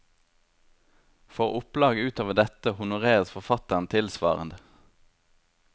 For opplag utover dette honoreres forfatteren tilsvarende.